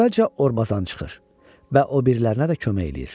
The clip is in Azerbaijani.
Əvvəlcə Orbazan çıxır və o birilərinə də kömək eləyir.